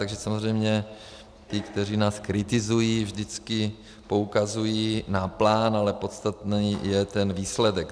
Takže samozřejmě ti, kteří nás kritizují, vždycky poukazují na plán, ale podstatný je ten výsledek.